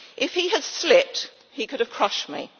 If he had slipped, he could have crushed me.